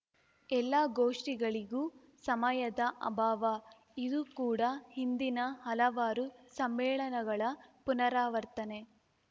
ಎಲ್ಲಾ ಗೋಷ್ಠಿಗಳಿಗೂ ಸಮಯದ ಅಭಾವ ಇದೂ ಕೂಡ ಹಿಂದಿನ ಹಲವಾರು ಸಮ್ಮೇಳನಗಳ ಪುನರಾವರ್ತನೆ